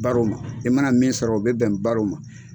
Baro ma i mana min sɔrɔ u bɛ bɛn baro ma